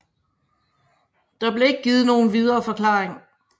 Der blev ikke givet nogen videre forklaring